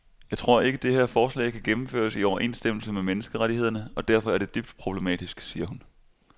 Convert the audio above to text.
Jeg tror ikke, det her forslag kan gennemføres i overensstemmelse med menneskerettighederne og derfor er det dybt problematisk, siger hun.